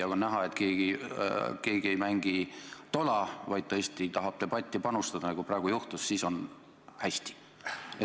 Kui on näha, et keegi ei mängi tola, vaid tõesti tahab debatti panustada, nagu praegu oli, siis on hästi.